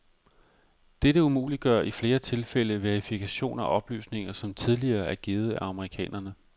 Dette umuliggør i flere tilfælde verifikation af oplysninger, som tidligere er givet af amerikanerne.